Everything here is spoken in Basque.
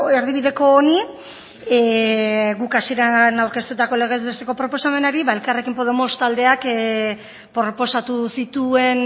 erdibideko honi guk hasieran aurkeztutako legez besteko proposamenari ba elkarrekin podemos taldeak proposatu zituen